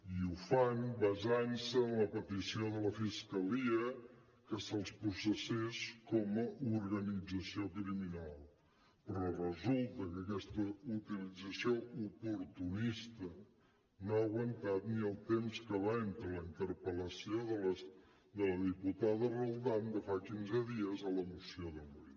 i ho fan basant se en la petició de la fiscalia que se’ls processés com a organització criminal però resulta que aquesta utilització oportunista no ha aguantat ni el temps que va entre la interpel·lació de la diputada roldán de fa quinze dies a la moció d’avui